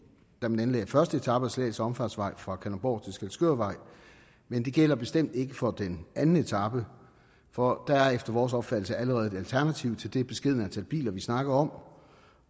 da man anlagde første etape af slagelse omfartsvej fra kalundborg til skælskørvej men det gælder bestemt ikke for den anden etape for der er efter vores opfattelse allerede et alternativ til det beskedne antal biler vi snakker om